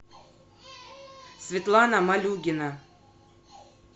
светлана малюгина